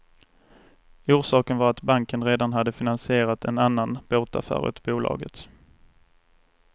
Orsaken var att banken redan hade finansierat en annan båtaffär åt bolaget.